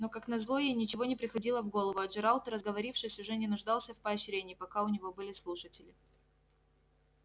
но как назло ей ничего не приходило в голову а джералд разговорившись уже не нуждался в поощрении пока у него были слушатели